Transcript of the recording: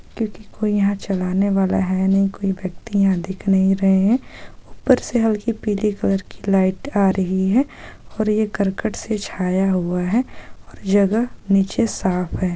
क्यूंकि कोई यहां चलाने वाला है नही कोई व्यक्ति यहां दिख नही रहे हैं ऊपर से हल्की पीली कलर की लाइट आ रही है और ये करकट से छाया हुआ है और जगह नीचे साफ है।